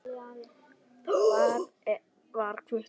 Hvar var Hvutti?